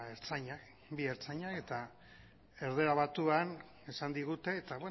ertzainak bi ertzaina eta erdara batuan esan digute eta